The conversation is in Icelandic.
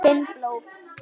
Finn blóð.